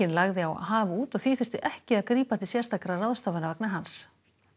lagði á haf út og því þurfti ekki að grípa til sérstakra ráðstafana vegna hans